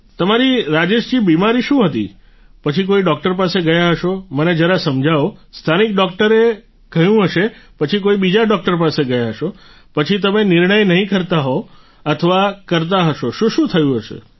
તમારી રાજેશ જી બિમારી શું હતી પછી કોઈ ડોક્ટર પાસે ગયા હશો મને જરા સમજાવો સ્થાનિક ડોક્ટરે કહ્યું હશે પછી કોઈ બીજા ડોક્ટર પાસે ગયા હશો પછી તમે નિર્ણય નહીં કરતા હોવ અથવા કરતા હશો શું શું થતું હશે